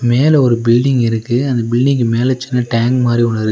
மேல ஒரு பில்டிங் இருக்கு அந்த பில்டிங்கு மேல சின்ன டேங்க் மாரி ஒன்னு இருக்கு.